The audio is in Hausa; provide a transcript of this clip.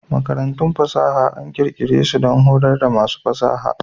Makarantun fasaha an ƙirƙire su don horar da masu ƙware a fasaha.